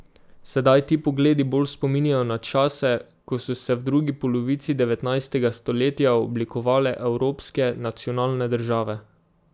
Sedaj ti pogledi bolj spominjajo na čase, ko so se v drugi polovici devetnajstega stoletja oblikovale evropske nacionalne države.